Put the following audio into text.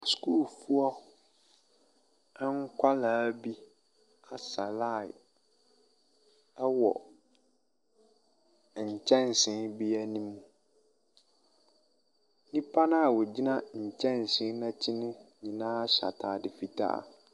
Sukuufoɔ nkɔla bi asɛ laen ɛwɔ nkyɛnse bi anim. Nnipa na ogyina nkyɛnse n'akyi no nyinaa hyɛ ataade fitaa.